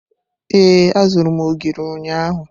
Ee, azụrụ m ogiri ụnyahụ.